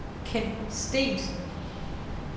Kent Steensen